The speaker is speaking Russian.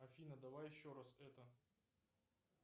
афина давай еще раз это